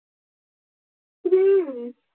हम्म